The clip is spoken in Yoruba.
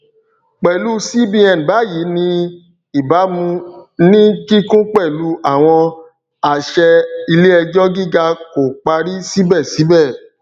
pẹlú cbn báyìí ní ìbámu ní kíkún pẹlu àwọn àṣẹ iléẹjọ gíga kò parí síbẹ síbẹ